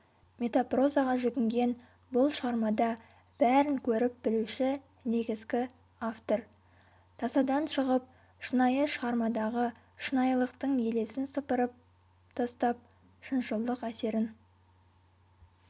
метапрозаға жүгінген бұл шығармада бәрін көріп білуші негізгі-автор тасадан шығып шынайы шығармадағы шынайылықтың елесін сыпырып тастап шыншылдық әсерін